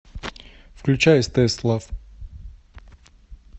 включай стс лав